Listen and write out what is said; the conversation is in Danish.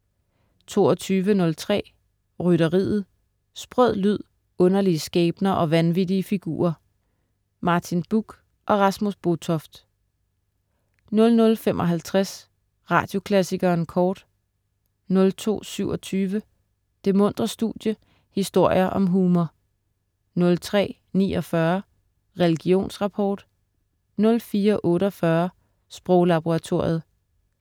22.03 Rytteriet. Sprød lyd, underlige skæbner og vanvittige figurer. Martin Buch og Rasmus Botoft 00.55 Radioklassikeren Kort* 02.27 Det muntre studie, historier om humor* 03.49 Religionsrapport* 04.48 Sproglaboratoriet*